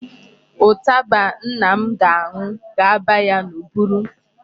Ụtaba nna m ga-aṅụ ga-aba ya n'ụbụrụ.